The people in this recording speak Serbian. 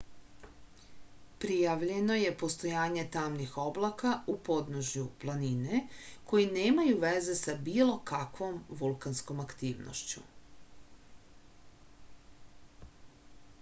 prijavljeno je postojanje tamnih oblaka u podnožju planine koji nemaju veze sa bilo kakvom vulkanskom aktivnošću